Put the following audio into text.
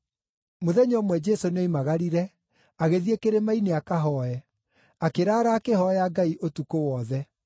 Mũthenya ũmwe Jesũ nĩoimagarire agĩthiĩ kĩrĩma-inĩ akahooe, akĩraara akĩhooya Ngai ũtukũ wothe.